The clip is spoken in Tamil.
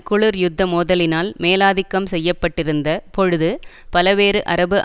குளிர் யுத்த மோதலினால் மேலாதிக்கம் செய்ய பட்டிருந்த பொழுது பலவேறு அரபு